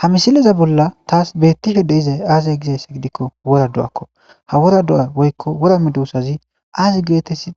Ha misileza bolla taas beetishe de'izay aaze gizayssa gidiko wora do'akko ha wora do'a woyko wora medosazi aazi geetethi